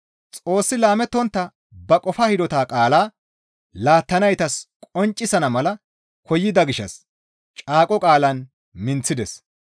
Xoossi laamettontta ba qofaa hidota qaalaa laattanaytas qonccisana mala koyida gishshas caaqo qaalan minththides.